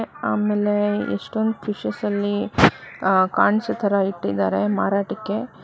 ಆಮೇಲೆ ಎಷ್ಟೊಂದ್ ಫಿಶಸ್ ಅಲ್ಲಿ ಕಾಣ್ಸೋ ತರ ಇಟ್ಟಿದ್ದಾರೆ ಮಾರಾಟಕ್ಕೆ